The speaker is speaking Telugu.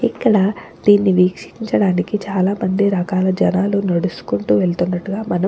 ఇక్కడ దీన్ని వీక్షించడానికి చాలామంది రకాల జనాలు నడుచుకుంటూ వెళుతున్నట్టుగా మనం --